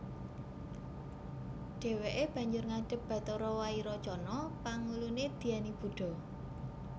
Dheweke banjur ngadhep Bathara Wairocana pangulune Dhyani Buddha